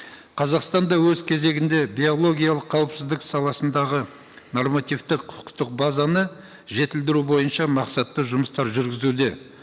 қазақстан да өз кезегінде биологиялық қауіпсіздік саласындағы нормативтік құқықтық базаны жетілдіру бойынша мақсатты жұмыстар жүргізуде